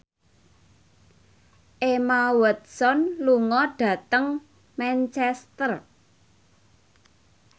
Emma Watson lunga dhateng Manchester